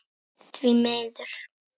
Því miður.